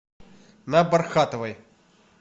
на бархатовой